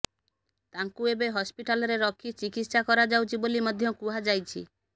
ତାଙ୍କୁ ଏବେ ହସ୍ପିଟାଲରେ ରଖି ଚିକିତ୍ସା କରାଯାଉଛି ବୋଲି ମଧ୍ୟ କୁହାଯାଇଛି